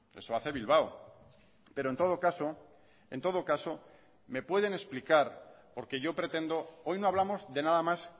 eso hace bilbao pero en todo caso en todo caso me pueden explicar porque yo pretendo hoy no hablamos de nada más